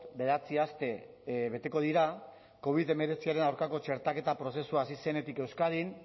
bederatzi aste beteko dira covid hemeretziaren aurkako txertaketa prozesua hasi zenetik euskadin